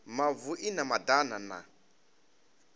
mavu i na madana na